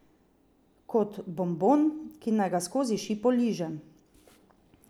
Kot bombon, ki naj ga skozi šipo ližem.